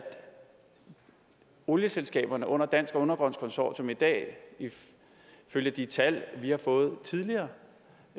olieselskaberne under dansk undergrunds consortium i dag ifølge de tal vi har fået tidligere